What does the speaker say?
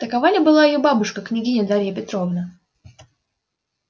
такова ли была её бабушка княгиня дарья петровна